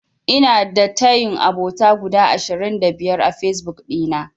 Ina da tayin abota guda ashirin da biyar a Fesbuk ɗina.